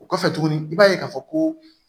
O kɔfɛ tuguni i b'a ye k'a fɔ ko